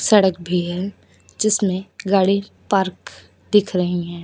सड़क भी है जिसमें गाड़ी पार्क दिख रही हैं।